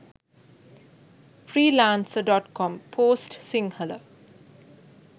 freelancer.com post sinhala